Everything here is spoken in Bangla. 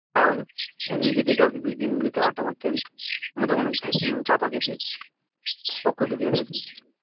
তাহলে একদিন গিয়ে দেখে আসবি গ্রিনভিউ তে আড্ডা মারতে যাবি আমাদের ওখানে চা ফা খেতে পক করে ঢুকে যাবি একদিন